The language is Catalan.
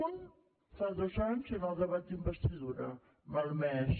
un fa dos anys en el debat d’investidura malmès